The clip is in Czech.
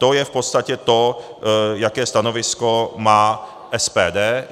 To je v podstatě to, jaké stanovisko má SPD.